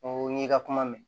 N ko n'i ka kuma mɛn